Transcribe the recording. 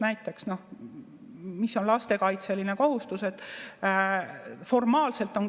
Näiteks, no mis on lastekaitselised kohustused?